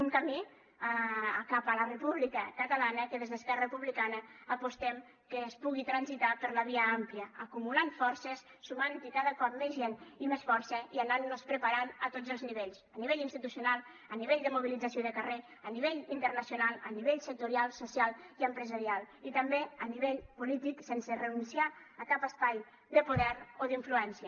un camí cap a la república catalana que des d’esquerra republicana apostem que es pugui transitar per la via àmplia acumulant forces sumant hi cada cop més gent i més força i anant nos preparant a tots els nivells a nivell institucional a nivell de mobilització i de carrer a nivell internacional a nivell sectorial social i empresarial i també a nivell polític sense renunciar a cap espai de poder o d’influència